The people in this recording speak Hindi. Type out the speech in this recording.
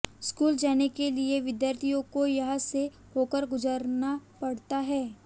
स्कूल जाने के लिए विद्यार्थियों को यहां से होकर गुजरना पड़ता है